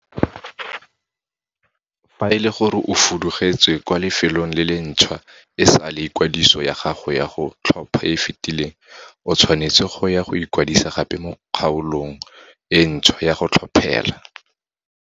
Fa ele gore o fudugetse kwa lefelong le le ntšhwa e sale ikwadiso ya gago ya go tlhopha e e fetileng, o tshwanetse go ya go ikwadisa gape mo kgaolong e ntšhwa ya go tlhophela.